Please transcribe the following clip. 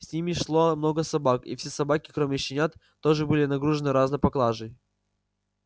с ними шло много собак и все собаки кроме щенят тоже были нагружены разной поклажей